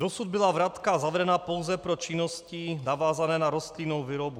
Dosud byla vratka zavedena pouze pro činnosti navázané na rostlinnou výrobu.